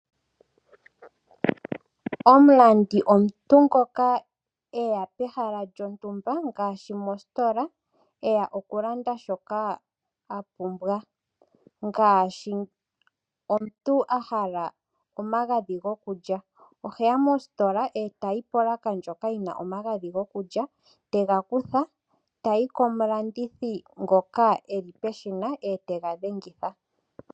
Omulandi omuntu ngoka eya pehala lyontumba ngaashi mositola eya okulanda shoka a pumbwa ngaashi omuntu a hala omagadhi goku lya oheya mositola etayi polaka ndjoka yina omagadhi goku lya etega kutha etayi komulandithi ngoka eli peshina etega dhengitha.